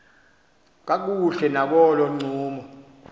kakuhle nakolo ncumo